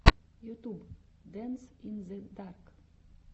ютюб дэнс ин зе дарк